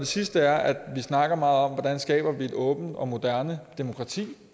sidste er at vi snakker meget om hvordan vi skaber et åbent og moderne demokrati